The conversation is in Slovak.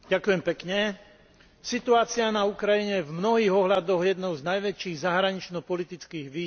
Situácia na Ukrajine je v mnohých ohľadoch jednou z najväčších zahranično politických výziev, ktorým čelíme.